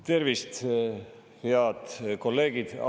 Tervist, head kolleegid!